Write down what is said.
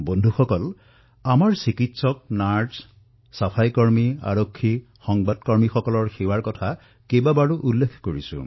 বন্ধুসকল আমাৰ চিকিৎসক নাৰ্ছিং ষ্টাফ চাফাইকৰ্মী আৰক্ষী সংবাদ মাধ্যমৰ কৰ্মী যিসকলে সেৱা প্ৰদান কৰি আছে তেওঁলোকৰ কথা মই কেইবাবাৰো উল্লেখ কৰিছো